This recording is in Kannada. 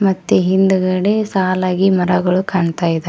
ಮತ್ತೆ ಹಿಂದ್ಗಡೆ ಸಾಲಾಗಿ ಮರಗಳು ಕಾಣ್ತಾ ಇದ--